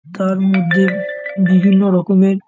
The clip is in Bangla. তার মধ্যে বিভিন্ন রকমের --